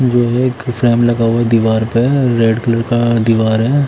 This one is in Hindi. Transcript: ये एक फैन लगा हुआ है दीवार पे रेड कलर का दीवार हैं।